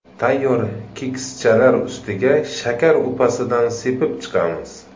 Tayyor kekschalar ustiga shakar upasidan sepib chiqamiz.